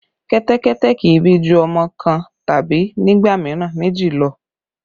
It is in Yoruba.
Kẹ́tẹ́kẹ́tẹ́ kì í bí ju ọmọ kan tàbí nígbà mìíràn méjì lọ